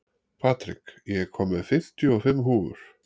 Patrik, ég kom með fimmtíu og fimm húfur!